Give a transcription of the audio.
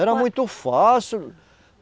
Era muito fácil.